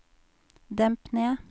demp ned